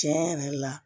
Tiɲɛ yɛrɛ la